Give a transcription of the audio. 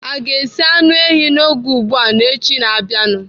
Aga esi anụ ehi n'oge ugbu a n'echi na-abịanụ?